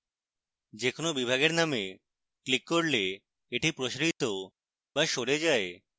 যে কোনো বিভাগের name ক্লিক করলে এটি প্রসারিত বা সরে যায়